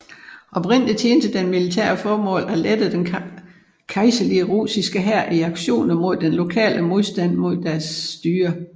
Oprindeligt tjente den militære formål at lette den kejserlige russiske hær i aktioner mod den lokale modstand mod deres styre